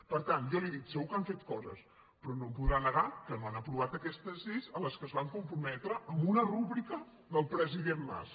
per tant jo li dic segur que han fet coses però no em podrà negar que no han aprovat aquestes lleis a què es van comprometre amb una rúbrica del president mas